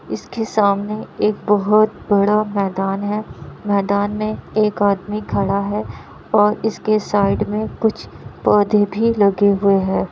इसके सामने एक बहुत बड़ा मैदान है | मैदान में एक आदमी खड़ा है और इसके साइड में कुछ पौधे भी लगे हुए हैं।